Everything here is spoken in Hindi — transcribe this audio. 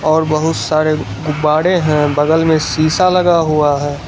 और बहुत सारे गुब्बाडे है बगल में शीशा लगा हुआ है।